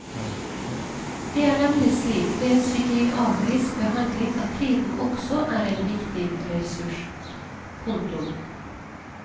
Det er nemlig slik med psykiatrisk behandling at tiden også er en viktig ressurs. punktum